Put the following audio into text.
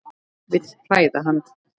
Vil hræða hann.